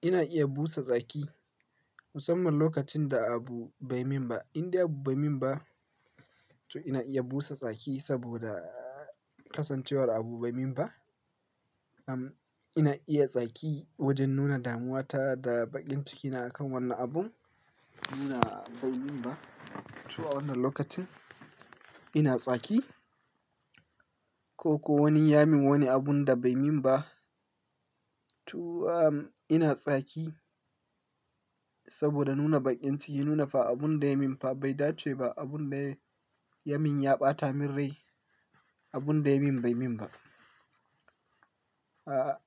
Ina iya busa tsaki musamman lokacin da abu bai min ba. In dai abu bai yi min ba, to ina iya busa tsaki saboda ƙasancewar abu bai yi min ba. Am ina iya tsaki wajen nuna damuwa ta da baƙin cikina akan wannan abun. Ina bai yi min ba, to a wannan lokacin ina tsaki. Ko ko wani ya min wani abun da bai min ba, to ina tsaki saboda nuna baƙin ciki, nuna fa abun da ya yi min fa bai dace ba, abun da ya yi min ya ɓata min rai, abun da ya yi min bai min ba. A'a